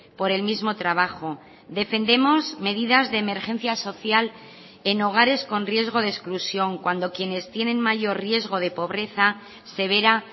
por el mismo trabajo defendemos medidas de emergencia social en hogares con riesgo de exclusión cuando quienes tienen mayor riesgo de pobreza severa